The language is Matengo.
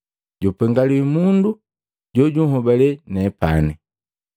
Jupengaliwi mundu jojuhobale nepani!”